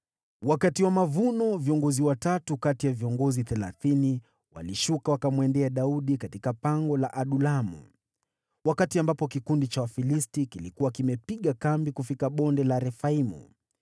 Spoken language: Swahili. Wakati wa mavuno, viongozi watatu kati ya viongozi thelathini walishuka, wakamwendea Daudi katika pango la Adulamu, wakati kikundi cha Wafilisti kilikuwa kimepiga kambi katika Bonde la Warefai.